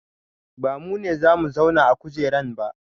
Ba mu ne za mu zauna a kujeran ba